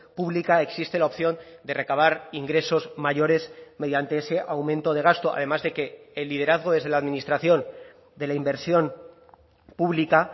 pública existe la opción de recabar ingresos mayores mediante ese aumento de gasto además de que el liderazgo desde la administración de la inversión pública